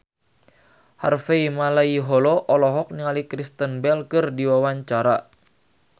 Harvey Malaiholo olohok ningali Kristen Bell keur diwawancara